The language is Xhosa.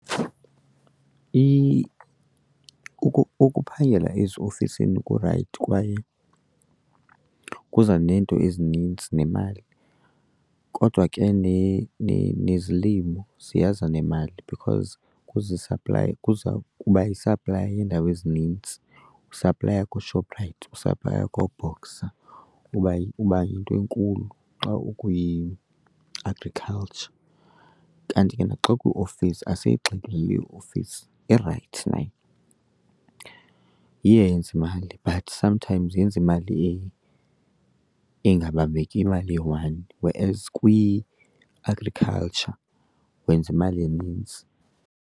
Ukuphangela eziofisini kurayithi kwaye kuza neento ezinintsi nemali kodwa ke nezilimo ziyaza nemali because kuza isaplaya, kuza kuba yisaplaya yeendawo ezinintsi. Usaplaya kooShoprite, usaplaya kooBoxer, uba , uba yinto enkulu xa ukwi-agriculture. Kanti ke naxa ukwiofisi, asiyigxili iofisi irayithi nayo, iyayenze imali but sometimes yenza imali engabambekiyo, imali eyi-one, whereas kwi-agriculture wenza imali enintsi.